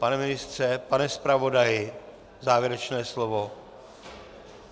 Pane ministře, pane zpravodaji, závěrečné slovo?